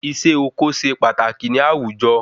Isé oko se pataki ni àwùjọ